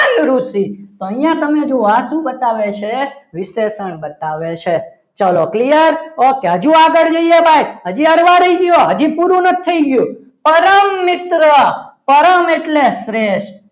મહાન ઋષિ અહીંયા તમે જુઓ આ શું બતાવે છે વિશેષણ બતાવે છે ચલો clear okay હજુ આગળ જઈએ ભાઈ હજી હળવા રહી ગયો હજી પૂરું નથી થઈ ગયું પરમ મિત્ર પરમ મિત્ર એટલે શ્રેષ્ઠ